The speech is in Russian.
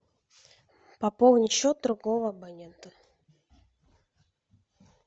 пополнить счет другого абонента